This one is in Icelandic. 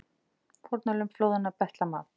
Fórnarlömb flóðanna betla mat